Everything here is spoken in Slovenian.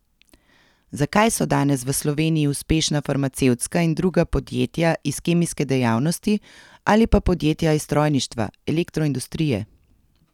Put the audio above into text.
Zakaj so danes v Sloveniji uspešna farmacevtska in druga podjetja iz kemijske dejavnosti ali pa podjetja iz strojništva, elektroindustrije?